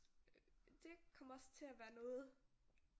Det kommer også til at være noget